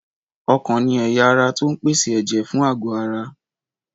Ọkàn ni ẹ̀yà ara tó ń pèsè ẹ̀jẹ̀ fún àgọ́ ara